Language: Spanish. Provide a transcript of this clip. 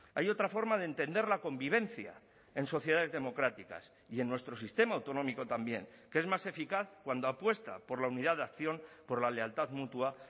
hay otra forma de entender la convivencia en sociedades democráticas y en nuestro sistema autonómico también que es más eficaz cuando apuesta por la unidad de acción por la lealtad mutua